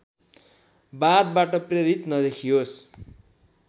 वादबाट प्रेरित नदेखियोस्